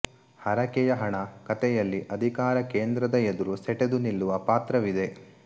ಹರಕೆಯ ಹಣ ಕತೆಯಲ್ಲಿ ಅಧಿಕಾರ ಕೇಂದ್ರದ ಎದುರು ಸೆಟೆದು ನಿಲ್ಲುವ ಪಾತ್ರವಿದೆ